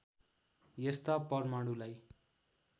यस्ता परमाणुलाई